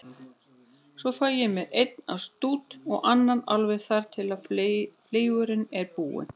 Svo fæ ég mér einn af stút, og annan, alveg þar til fleygurinn er búinn.